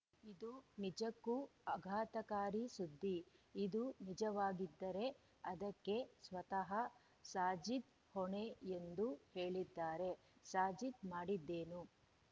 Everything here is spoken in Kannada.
ಇದು ನಿಜಕ್ಕೂ ಆಘಾತಕಾರಿ ಸುದ್ದಿ ಇದು ನಿಜವಾಗಿದ್ದರೆ ಅದಕ್ಕೆ ಸ್ವತಃ ಸಾಜಿದ್‌ ಹೊಣೆ ಎಂದು ಹೇಳಿದ್ದಾರೆ ಸಾಜಿದ್‌ ಮಾಡಿದ್ದೇನು